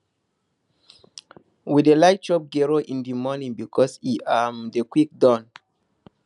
we dey like chop gero in di morning because e um dey quick don